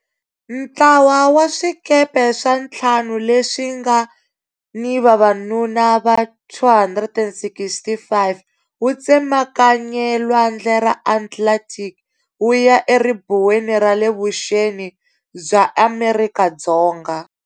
Ntlawa wa swikepe swa ntlhanu leswi nga ni vavanuna va 265 wu tsemakanye lwandle ra Atlantic wu ya eribuweni ra le vuxeni bya Amerika Dzonga.